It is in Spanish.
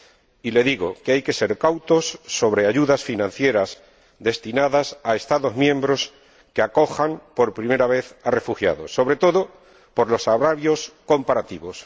Y le digo que hay que ser cautos sobre las ayudas financieras destinadas a Estados miembros que acojan por primera vez a refugiados, sobre todo por los agravios comparativos.